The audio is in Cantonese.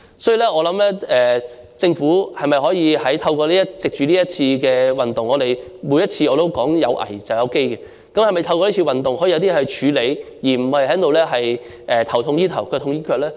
所以，我認為政府可以藉着這次運動處理一些問題——正如我每次都說"有危便有機"——而不是"頭痛醫頭，腳痛醫腳"呢？